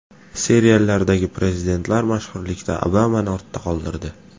Seriallardagi prezidentlar mashhurlikda Obamani ortda qoldirdi.